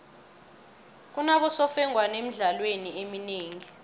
kunabosemfengwana emidlalweni eminengi